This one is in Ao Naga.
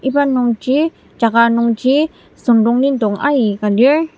iba nungji jaka nungji süngdonglidong aika lir.